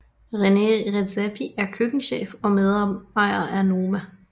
Rene Redzepi er køkkenchef og medejer af Noma